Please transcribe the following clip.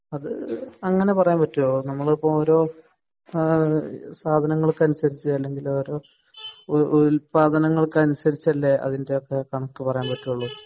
അത് ഇപ്പൊ അങ്ങനെ പറയാൻ പറ്റുമോ അത് നമ്മൾ ഇപ്പോ ഓരോ സാധനങ്ങൾക്ക് അനുസരിച്ചു അല്ലെങ്കിൽ ഓരോ ഉല്പാദനങ്ങൾക്ക് അനുസരിച്ചല്ലേ അതിന്റെയൊക്കെ കണക്ക് പറയാൻ പറ്റുള്ളൂ